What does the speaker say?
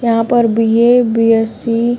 यहाँ पर B A B S C --